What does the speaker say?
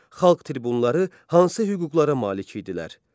Xalq tribunları hansı hüquqlara malik idilər?